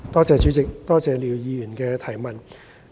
主席，多謝廖議員提出的補充質詢。